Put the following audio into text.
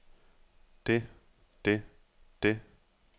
det det det